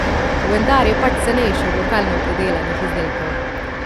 Vendar je pač cenejše od lokalno pridelanih izdelkov.